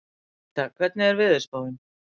Ríta, hvernig er veðurspáin?